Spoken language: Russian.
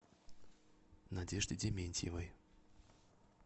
надежде дементьевой